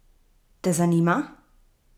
Te zanima?